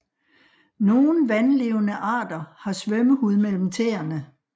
Nogle vandlevende arter har svømmehud mellem tæerne